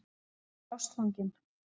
Hann er ástfanginn.